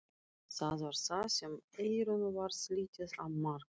Það var þá sem Eyrúnu varð litið á Mark.